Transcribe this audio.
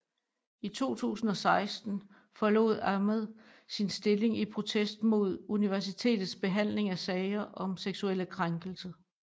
I 2016 forlod Ahmed sin stilling i protest mod universitets behandling af sager om seksuelle krænkelser